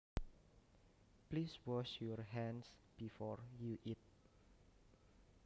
Please wash your hands before you eat